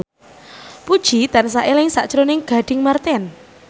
Puji tansah eling sakjroning Gading Marten